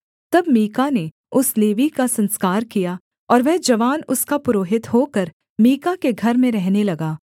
तब मीका ने उस लेवीय का संस्कार किया और वह जवान उसका पुरोहित होकर मीका के घर में रहने लगा